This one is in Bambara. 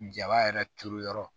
Jaba yɛrɛ turu yɔrɔ